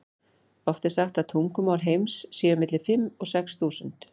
Oft er sagt að tungumál heims séu milli fimm og sex þúsund.